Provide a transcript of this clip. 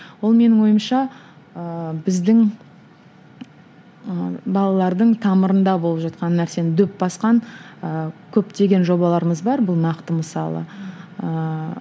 ол менің ойымша ыыы біздің ы балалардың тамырында болып жатқан нәрсені дөп басқан ыыы көптеген жобаларымыз бар бұл нақты мысалы ыыы